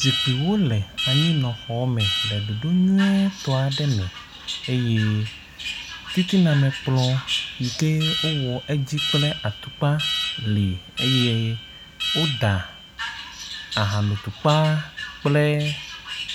zikpiwo le anyinɔ xɔ me le ɖoɖo nyuitɔ me eye titina me kplɔ yike wowɔ eŋti kple atukpa li eye woda ahano tukpa kple